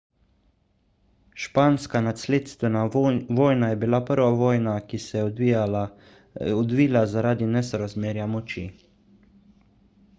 španska nasledstvena vojna je bila prva vojna ki se je odvila zaradi nesorazmerja moči